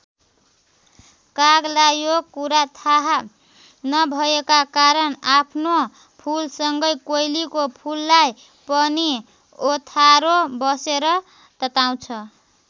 कागलाई यो कुरा थाह नभएका कारण आफ्नो फुलसँगै कोइलीको फुललाई पनि ओथारो बसेर तताउँछ।